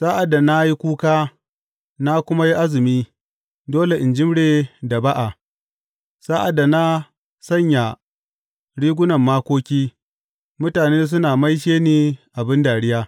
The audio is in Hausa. Sa’ad da na yi kuka na kuma yi azumi dole in jimre da ba’a; sa’ad da na sanya rigunan makoki, mutane suna maishe ni abin dariya.